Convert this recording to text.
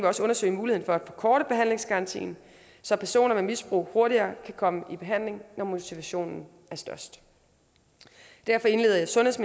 også undersøge muligheden for at forkorte behandlingsgarantien så personer med misbrug hurtigere kan komme i behandling når motivationen er størst derfor indleder sundheds